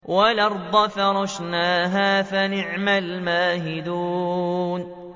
وَالْأَرْضَ فَرَشْنَاهَا فَنِعْمَ الْمَاهِدُونَ